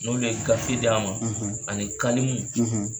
N'olu ye gafe d'a ma, , ani kalimu,